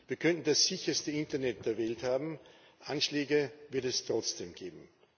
Wir könnten das sicherste Internet der Welt haben Anschläge wird es trotzdem geben.